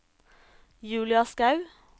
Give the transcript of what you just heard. Julia Skaug